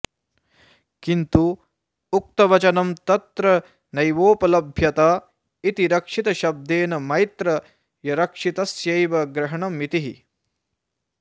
किन्तु उक्तवचनं तत्र नैवोपलभ्यत इति रक्षितशब्देन मैत्र यरक्षितस्यैव ग्रहणमितिः